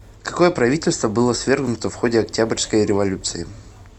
какое правительство было свергнуто в ходе октябрьской революции